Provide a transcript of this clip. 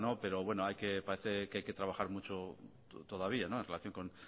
pero parece que hay que trabajar mucho todavía